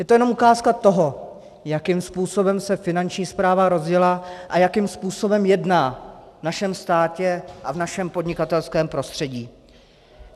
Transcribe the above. Je to jenom ukázka toho, jakým způsobem se Finanční správa rozjela a jakým způsobem jedná v našem státě a v našem podnikatelském prostředí.